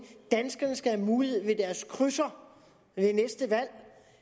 danskerne skal have mulighed for med deres krydser ved det næste valg